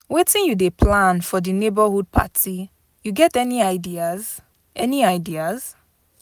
Wetin you dey plan for di neighborhood party, you get any ideas? any ideas?